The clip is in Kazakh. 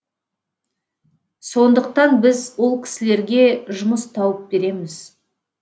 сондықтан біз ол кісілерге жұмыс тауып береміз